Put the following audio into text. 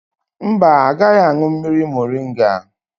Mba, agaghị aṅụ mmiri moringa